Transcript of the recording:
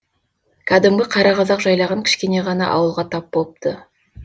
кәдімгі қара қазақ жайлаған кішкене ғана ауылға тап болыпты